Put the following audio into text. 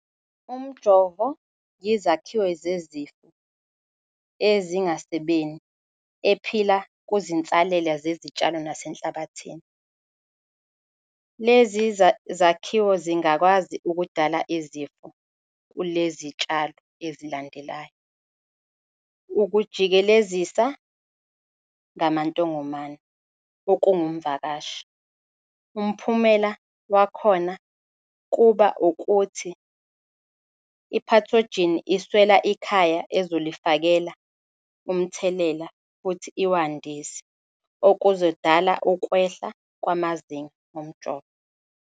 Umjovo yizakhiwo zezifo ezingasebeni ephila kuzinsalela zesitshalo nasenhlabathini. Lezi zakhiwo zingakwazi ukudala izifo kule zitshalo ezilandelayo. Ukujikelezisa ngamantongomane, okungumvakashi. umphumela wakhona kuba ukuthi iphathojini iswela ikhaya ezolifakela umthelela futhi iwandise, okuzodala ukwehla kwamazinga omjovo.